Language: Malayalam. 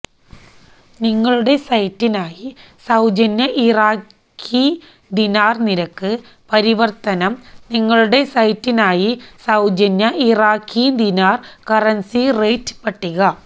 നിങ്ങളുടെ സൈറ്റിനായി സൌജന്യ ഇറാഖി ദിനാർ നിരക്ക് പരിവർത്തനം നിങ്ങളുടെ സൈറ്റിനായി സൌജന്യ ഇറാഖി ദിനാർ കറൻസി റേറ്റ് പട്ടിക